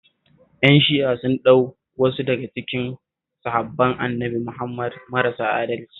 Ƴan Shi'a sun ɗauki wasu daga cikin sahabban Annabi Muhammad marasa adalci